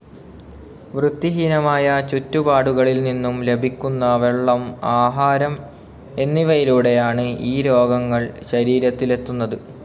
വൃത്തിഹീനമായ ചുറ്റുപാടുകളിൽ നിന്നും ലഭിക്കുന്ന വെള്ളം ആഹാരം എന്നിവയിലൂടെയാണ് ഈ രോഗങ്ങൾ ശരീരത്തിലെത്തുന്നത്.